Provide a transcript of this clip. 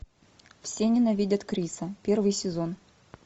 все ненавидят криса первый сезон